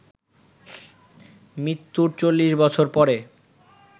মৃত্যুর চল্লিশ বছর পরে